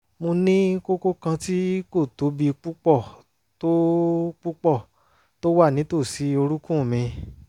mo ní kókó kan tí kò tóbi púpọ̀ tó púpọ̀ tó wà nítòsí orúnkún mi